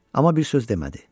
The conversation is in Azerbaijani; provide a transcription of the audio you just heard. Amma bir söz demədi.